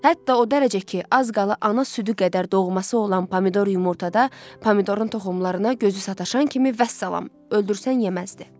Hətta o dərəcə ki, az qala ana südü qədər doğması olan pomidor yumurtada, pomidorun toxumlarına gözü sataşan kimi vəssalam, öldürsən yeməzdi.